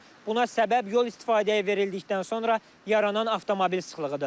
Buna səbəb yol istifadəyə verildikdən sonra yaranan avtomobil sıxlığıdır.